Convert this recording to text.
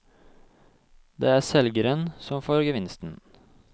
Det er selgerne som får gevinsten.